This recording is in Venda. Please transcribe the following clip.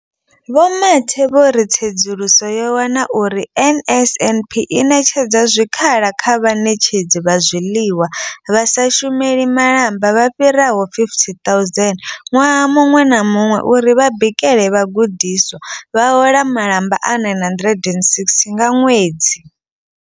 Vho Mathe vho ri tsedzuluso yo wana uri NSNP i ṋetshedza zwikhala kha vhaṋetshedzi vha zwiḽiwa vha sa shumeli malamba vha fhiraho 50 000 ṅwaha muṅwe na muṅwe uri vha bikele vhagudiswa, vha hola malamba a R960 nga ṅwedzi.